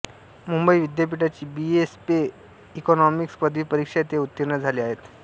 मुंबई विद्यापीठाची B A स्पे economics पदवी परीक्षा ते उत्तीर्ण झाले आहेत